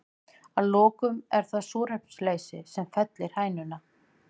Að lokum er það súrefnisleysi sem fellir hænuna.